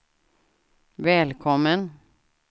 välkommen